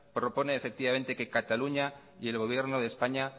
propone efectivamente que cataluña y el gobierno de españa